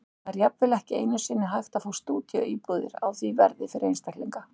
Það er jafnvel ekki einu sinni hægt að fá stúdíóíbúðir á því verði fyrir einstaklinga.